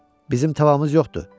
Bizim tavamız yoxdur.